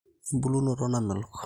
embulunot namelok